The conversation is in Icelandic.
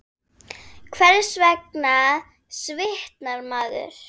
Hvers vegna svitnar maður?